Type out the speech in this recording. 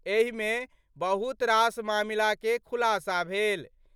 एहि मे बहुत रास मामला के खुलासा भेल।